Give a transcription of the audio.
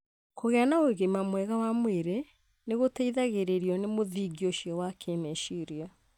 Kũgĩa na ũgima mwega wa mwĩrĩ nĩ gũteithagĩrĩrio nĩ mũthingi ũcio wa kĩĩmeciria.